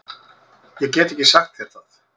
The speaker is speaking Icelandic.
Ég get ekki sagt þér það.